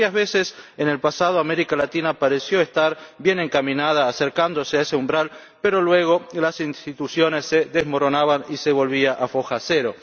Varias veces en el pasado América Latina pareció estar bien encaminada, acercándose a ese umbral, pero luego las instituciones se desmoronaban y se volvía a foja cero.